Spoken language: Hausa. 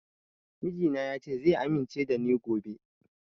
Mijina ya ce zai amince da ni gobe